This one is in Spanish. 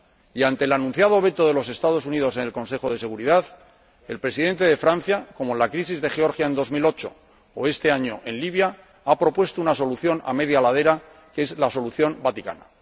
Y ante el anunciado veto de los Estados Unidos en el Consejo de Seguridad, el Presidente de Francia −como en la crisis de Georgia en el año 2008, o este año en Libia− ha propuesto una solución a media ladera, que es la solución vaticana.